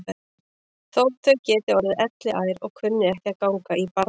Þótt þau geti orðið elliær og kunni ekki að ganga í barndóm.